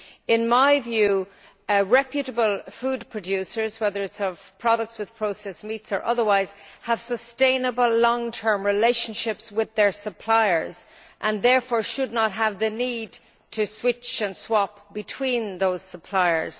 In my view, reputable food producers, whether of products with processed meats or otherwise, have sustainable long term relationships with their suppliers and therefore should not have the need to switch and swap between those suppliers.